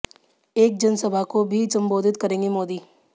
एक जन सभा को भी संबोधित करेंगे मोदी